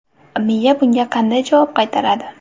Miya bunga qanday javob qaytaradi?